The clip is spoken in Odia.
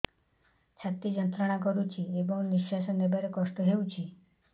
ଛାତି ଯନ୍ତ୍ରଣା କରୁଛି ଏବଂ ନିଶ୍ୱାସ ନେବାରେ କଷ୍ଟ ହେଉଛି